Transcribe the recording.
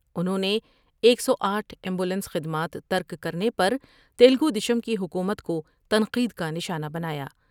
انہوں نے ایک سو آٹھ ایمبولینس خدمات ترک کرنے پر تلگو دیشم کی حکومت کو تنقید کا نشانہ بنایا ۔